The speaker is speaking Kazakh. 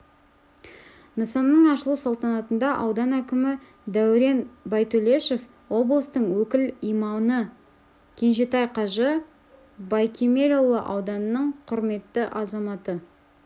нысанның ашылу салтанатында аудан әкімі дәурен байтөлешов облыстың өкіл имамы кенжетай қажы байкемелұлы ауданның құрметті азаматы